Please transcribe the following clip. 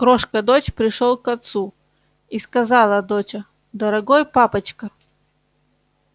крошка дочь пришёл к отцу и сказала доча дорогой папочка